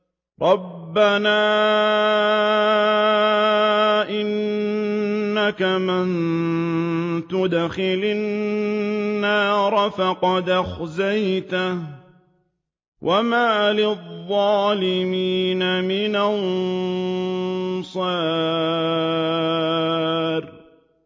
رَبَّنَا إِنَّكَ مَن تُدْخِلِ النَّارَ فَقَدْ أَخْزَيْتَهُ ۖ وَمَا لِلظَّالِمِينَ مِنْ أَنصَارٍ